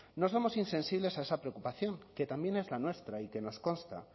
no somos insensibles a esa preocupación que también es la nuestra y que nos consta